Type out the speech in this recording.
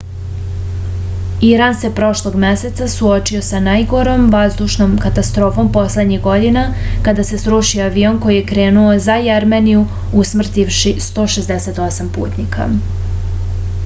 iran se prošlog meseca suočio sa najgorom vazdušnom katastrofom poslednjih godina kada se srušio avion koji je krenuo za jermeniju usmrtivši 168 putnika